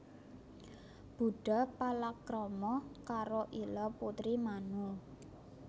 Budha palakrama karo Ila putri Manu